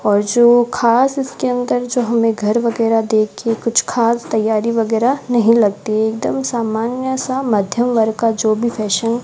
और जो खास इसके अंदर जो हमें घर वगैरा देख के कुछ खास तैयारी वगैरा नहीं लगती एकदम सामान्य सा मध्यम वर्ग का जो भी फैशन --